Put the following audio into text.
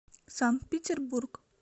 санкт петербург